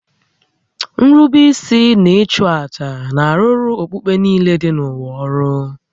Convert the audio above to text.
Nrube isi na ịchụ àjà na-arụrụ okpukpe niile dị n'ụwa ọrụ